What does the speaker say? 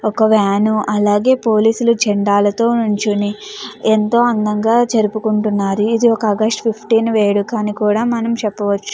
ఒక వేను అలాగే పోలీస్ లు జెండాలతో నుంచొని ఎంతో అందంగా జరుపుకుంటున్నారు ఇది ఒక ఆగష్టు ఫిఫ్టీన్ వేడుక అని కూడ మనం చెప్పవచు.